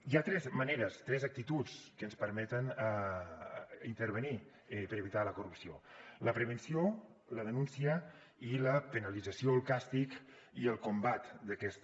hi ha tres maneres tres actituds que ens permeten intervenir per evitar la corrupció la prevenció la denúncia i la penalització el càstig i el combat d’aquesta